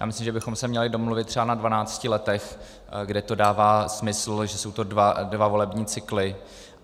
Já myslím, že bychom se měli domluvit třeba na dvanácti letech, kde to dává smysl, že jsou to dva volební cykly.